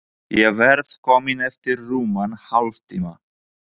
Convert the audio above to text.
Ég verð komin eftir rúman hálftíma.